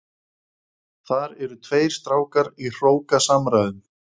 Þar eru tveir strákar í hrókasamræðum.